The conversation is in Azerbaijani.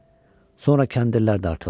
Sonra kəndirlər dartıldı.